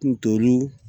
Ntoru